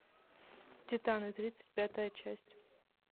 титаны тридцать пятая часть